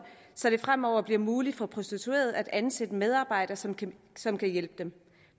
så det fremover bliver muligt for prostituerede at ansætte en medarbejder som kan som kan hjælpe dem